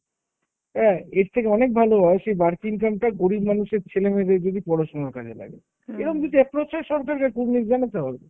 হ্যাঁ, এর থেকে অনেক ভালো হয় সেই বাড়তি income টা গরিব মানুষের ছেলেমেয়েদের যদি পড়াশুনার কাজে লাগে। এরম যদি approach হয় সরকাররে কুর্নিশ জানাতে হবে।